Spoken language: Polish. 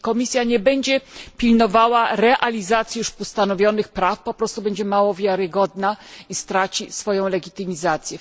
Jeśli Komisja nie będzie pilnowała realizacji już postanowionych praw, po prostu będzie mało wiarygodna i straci swoją legitymizację.